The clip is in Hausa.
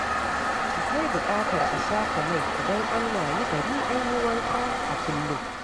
Akwai buƙatar a shafa mai idan an wayi gari an yi wanka a kullum.